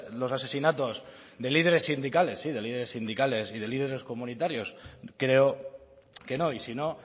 los asesinatos de líderes sindicales sí de líderes sindicales y de líderes comunitarios creo que no y si no